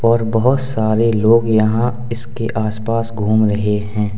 और बहोत सारे लोग यहां इसके आस पास घूम रहे हैं।